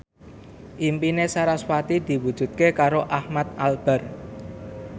impine sarasvati diwujudke karo Ahmad Albar